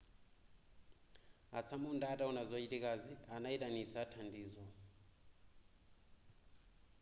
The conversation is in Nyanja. atsamunda ataona zochitikazi anaitanitsa thandizo